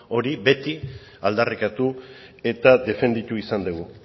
hori beti aldarrikatu eta defenditu izan dugu